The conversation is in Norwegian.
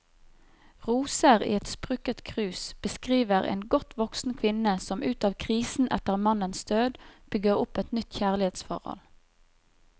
Roser i et sprukket krus beskriver en godt voksen kvinne som ut av krisen etter mannens død, bygger opp et nytt kjærlighetsforhold.